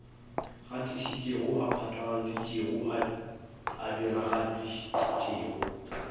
gatišitšego a phatlaladitšego a diragaditšego